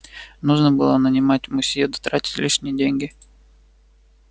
нужно было нанимать мусье да тратить лишние деньги